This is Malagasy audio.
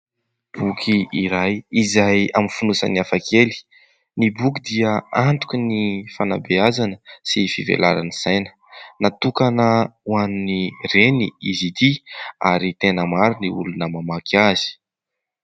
Boky iray izay amin'ny fonosany hafakely, ny boky dia antoky ny fanabeazana sy fivelaran'ny saina, natokana hoan'ny reny izy ity ary tena maro ny olona mamaky azy.